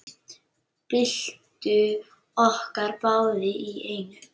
Byltum okkur báðar í einu.